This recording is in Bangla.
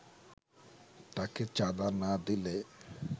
তাকে চাঁদা না দিলে